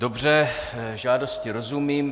Dobře, žádosti rozumím.